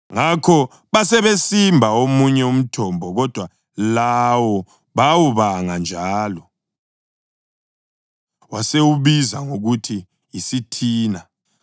Ngakho basebesimba omunye umthombo, kodwa lawo bawubanga njalo; wasewubiza ngokuthi yiSithina.